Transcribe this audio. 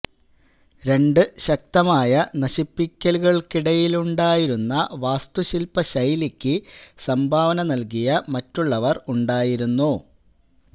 രണ്ട് ശക്തമായ നശിപ്പിക്കലുകൾക്കിടയിലുണ്ടായിരുന്ന വാസ്തുശില്പ ശൈലിക്ക് സംഭാവന നൽകിയ മറ്റുള്ളവർ ഉണ്ടായിരുന്നു